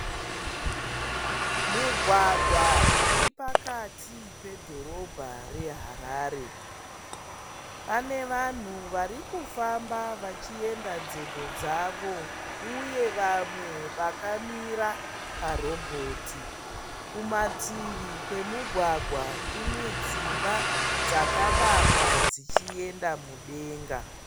Mugwagwa uri pakati pedhorobha reHarare. Pane vanhu vari kufamba vachienda nzendo dzavo uye vamwe vakamira parobhoti. Kumativi kwemugwagwa kune dzimba dzakavakwa dzichienda mudenga.